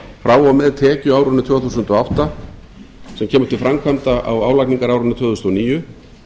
frá og með tekjuárinu tvö þúsund og átta sem kemur til framkvæmda á álagningarárinu tvö þúsund og níu